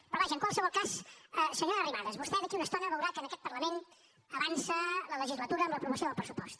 però vaja en qualsevol cas senyora arrimadas vostè d’aquí a una estona veurà que en aquest parlament avança la legislatura amb l’aprovació del pressupost